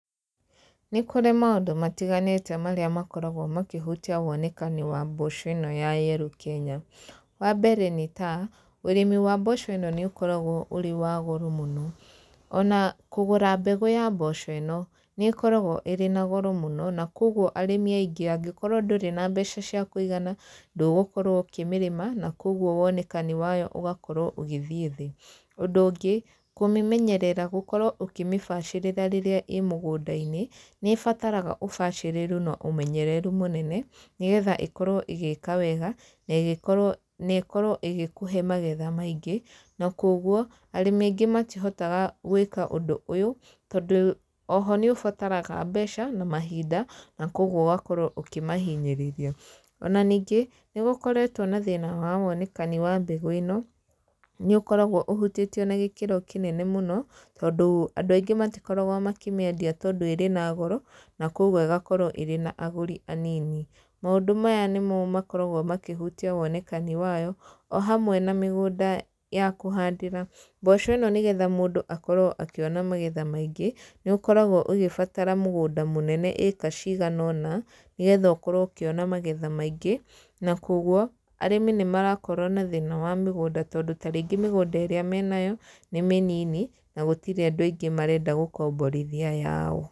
Nĩ kũrĩ maũndũ matiganĩte marĩa makoragwo makĩhutia wonekani wa mboco ĩno ya yellow Kenya. Wa mbere nĩ ta, ũrĩmi wa mboco ĩno nĩ ũkoragwo ũrĩ wa goro mũno. Ona kũgũra mbegũ ya mboco ĩno, nĩ ĩkoragwo ĩrĩ na goro mũno, na kũguo arĩmi aingĩ angĩkorwo ndũrĩ na mbeca cia kũigana, ndũgũkorwo ũkĩmĩrĩma, na kũguo wonekani wayo ũgakorwo ũgĩthiĩ thĩ. Ũndũ ũngĩ, kũmĩmenyerera, gũkorwo ũkĩmĩbacĩrĩra rĩrĩa ĩĩ mũgũnda-inĩ, nĩ ĩbataraga ũbacĩrĩru na ũmenyereru mũnene, nĩgetha ĩkorwo ĩgĩĩka wega, na ĩgĩkorwo na ĩkorwo ĩgĩkũhe magetha maingĩ. Na kũguo, arĩmi aingĩ matihotaga gwĩka ũndũ ũyũ, tondũ oho nĩ ũbataraga mbeca, na mahinda, na kũguo ũgakorwo ũkĩmahinyĩrĩria. Ona ningĩ, nĩ gũkoretwo na thĩna wa wonekani wa mbegũ ĩno, nĩ ũkoragwo ũhutĩtio na gĩkĩro kĩnene mũno, tondũ andũ aingĩ matikoragwo makĩmĩendia tondũ ĩrĩ na goro, na kũguo ĩgakorwo ĩrĩ na agũri anini. Maũndũ maya nĩmo makoragwo makĩhutia wonekani wayo, o hamwe na mĩgũnda ya kũhandĩra. Mboco ĩno nĩgetha mũndũ akorwo akĩona magetha maingĩ, nĩ ũkoragwo ũgĩbatara mũgũnda mũnene ĩĩka cigana ũna, nĩgetha ũkorwo ũkĩona magetha maingĩ. Na kũguo, arĩmi nĩ marakorwo na thĩna wa mĩgũnda tondũ tarĩngĩ mĩgũnda ĩrĩa menayo, nĩ mĩnini na gũtirĩ andũ aingĩ marenda gũkomborithia yao.